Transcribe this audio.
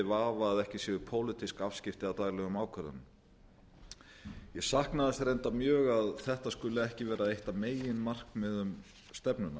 vafa að ekki séu pólitísk afskipti af daglegum ákvörðunum ég sakna þess reyndar mjög að þetta skuli ekki vera eitt af meginmarkmiðum stefnunnar